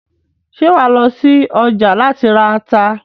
Ṣé wàá lọ sí ọjà láti ra ata?